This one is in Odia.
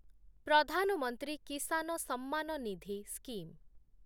ପ୍ରଧାନ ମନ୍ତ୍ରୀ କିସାନ ସମ୍ମାନ ନିଧି ସ୍କିମ୍